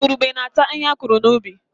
Igurube na-ata ihe a kụrụ n'ubi